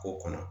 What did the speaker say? K'o kɔnɔ